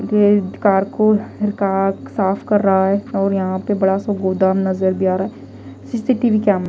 ये कार को कार साफ कर रहा है और यहां पे बड़ा सा गोदाम नजर भी आ रहा है सी_सी_टी_वी कैम --